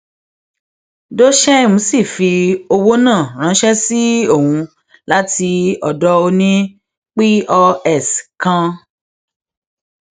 dosheim sì fi owó náà ránṣẹ sí ohun láti ọdọ òní pọs kan